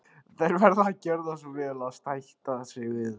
Þær verða að gjöra svo vel að sætta sig við það.